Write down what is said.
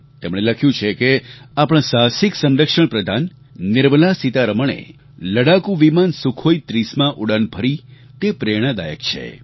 તેમણે લખ્યું છે કે આપણાં સાહસિક સંરક્ષણ પ્રધાન નિર્મલા સીતારમણે લડાકુ વિમાન સુખોઈ 30માં ઉડાન ભરી તે પ્રેરણાદાયક છે